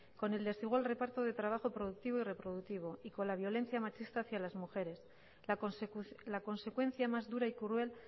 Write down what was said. con el desigual reparto de trabajo productivo y reproductivo y con la violencia machista hacia las mujeres la consecuencia más dura y cruel